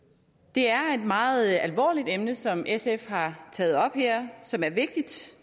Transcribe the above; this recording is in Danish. det er et meget alvorligt emne som sf har taget op her og som er vigtigt